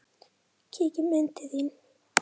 Kíkjum inn til þín